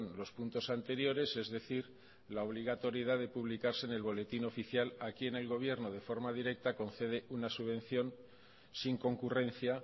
los puntos anteriores es decir la obligatoriedad de publicarse en el boletín oficial aquí en el gobierno de forma directa concede una subvención sin concurrencia